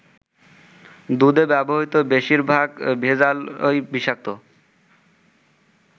দুধে ব্যবহৃত বেশিরভাগ ভেজালই বিষাক্ত।